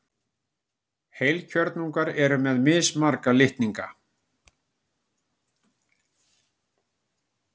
heilkjörnungar eru með mismarga litninga